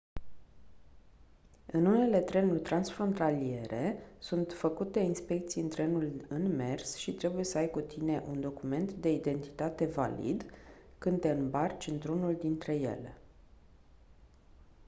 în unele trenuri transfrontaliere sunt făcute inspecții în trenul în mers și trebuie să ai cu tine un document de identitate valid când te îmbarci într-unul dintre ele